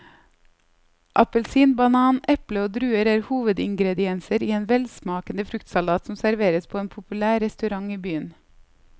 Appelsin, banan, eple og druer er hovedingredienser i en velsmakende fruktsalat som serveres på en populær restaurant i byen.